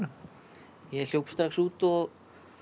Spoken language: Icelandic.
ég hljóp strax út og